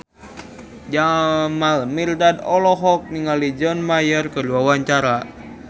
Jamal Mirdad olohok ningali John Mayer keur diwawancara